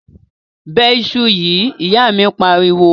Bẹ iṣu yìí!, ìyá míì pariwo.